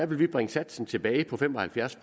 vi bringe satsen tilbage på fem og halvfjerds